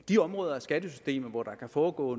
de områder af skattesystemet hvor der kan foregå